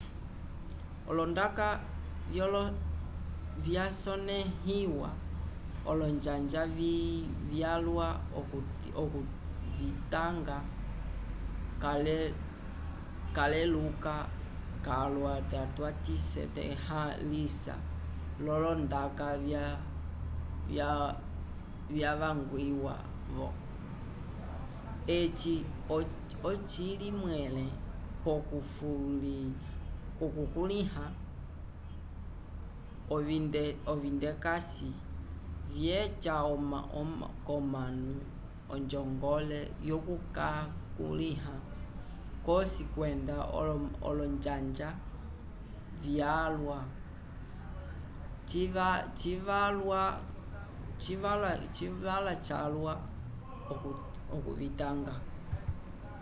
olondaka vyasonẽhiwa olonjanja vyalwa okuvitanga caleluka calwa nda twavisetalhãlisa l'olondaka vyavangwiwa-vo eci ocili mwẽle k'okukulĩha ovindekase vyeca k'omanu onjongole yokukakulĩha c'osi kwenda olonjanja vyalwa civalwa calwa okuvitanga